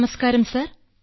നമസ്കാരം സാർ